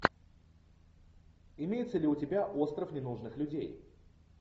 имеется ли у тебя остров ненужных людей